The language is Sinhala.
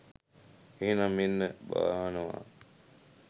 එහෙනම් මෙන්න බානවා.